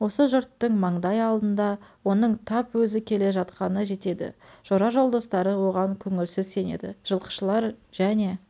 осы жұрттың маңдай алдында оның тап өзі келе жатқаны жетеді жора-жолдастары оған көңілсіз сенеді жылқышылар жене